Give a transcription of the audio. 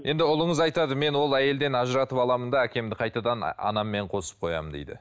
енді ұлыңыз айтады мен ол әйелден ажыратып аламын да әкемді қайтадан анаммен қосып қоямын дейді